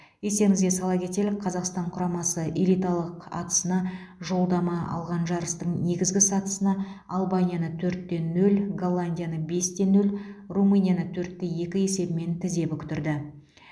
естеріңізге сала кетелік қазақстан құрамасы элиталық атысына жолдама алған жарыстың негізгі сатысында албанияны төрт те нөл голландияны бес те нөл румынияны төрт те екі есебімен тізе бүктірді